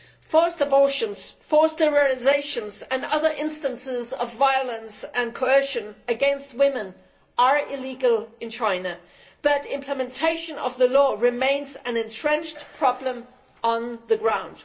Forced abortions, forced sterilisations and other instances of violence and coercion against women are illegal in China, but implementation of the law remains an entrenched problem on the ground.